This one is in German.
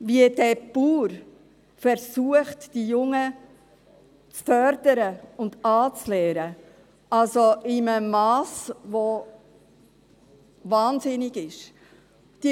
Wie dieser Bauer versucht, die Jungen zu fördern und anzulernen – also in einem Mass, das wahnsinnig ist.